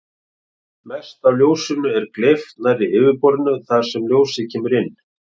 Mest af ljósinu er gleypt nærri yfirborðinu þar sem ljósið kemur inn.